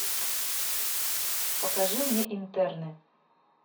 покажи мне интерны